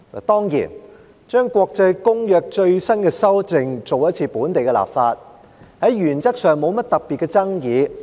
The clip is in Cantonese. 當然，就國際公約最新的修訂進行一次本地立法，原則上沒甚麼特別的爭議。